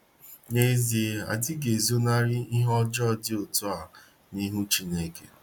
N'ezie, adịghị ezo narị ihe ọjọọ dị otua nihu Chineke